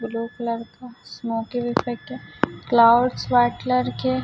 blue colour का smoking effect है clouds white colour के--